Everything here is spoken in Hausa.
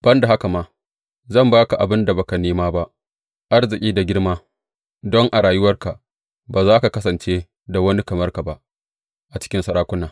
Ban da haka ma, zan ba ka abin da ba ka nema ba; arziki da girma, don a rayuwarka ba za ka kasance da wani kamar ka ba a cikin sarakuna.